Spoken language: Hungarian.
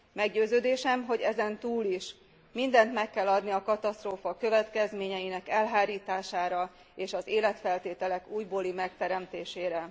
Meggyőződésem, hogy ezen túl is mindent meg kell adni a katasztrófa következményeinek elhárítására és az életfeltételek újbóli megteremtésére.